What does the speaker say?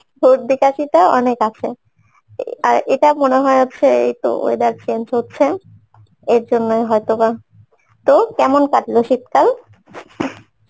সর্দি কাশিটা অনেক আছে এ আর এটা মনে হয় হচ্ছে weather change হচ্ছে এরজন্যে হয়তবা তো, কেমন কাটল শীতকাল?